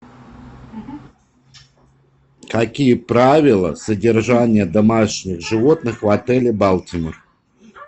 какие правила содержания домашних животных в отеле балтимор